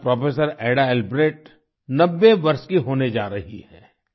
आज professor Ada Albrecht 90 वर्ष की होने जा रही हैं